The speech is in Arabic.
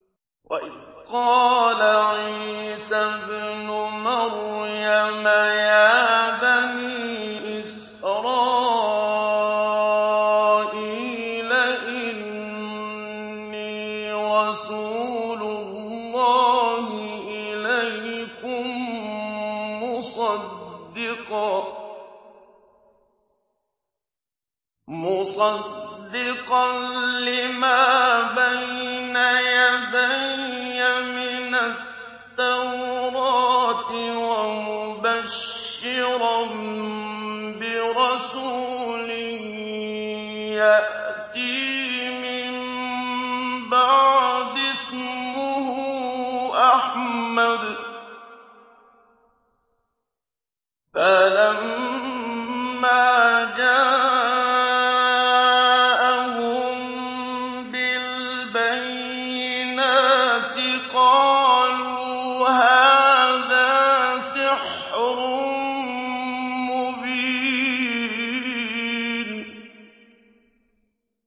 وَإِذْ قَالَ عِيسَى ابْنُ مَرْيَمَ يَا بَنِي إِسْرَائِيلَ إِنِّي رَسُولُ اللَّهِ إِلَيْكُم مُّصَدِّقًا لِّمَا بَيْنَ يَدَيَّ مِنَ التَّوْرَاةِ وَمُبَشِّرًا بِرَسُولٍ يَأْتِي مِن بَعْدِي اسْمُهُ أَحْمَدُ ۖ فَلَمَّا جَاءَهُم بِالْبَيِّنَاتِ قَالُوا هَٰذَا سِحْرٌ مُّبِينٌ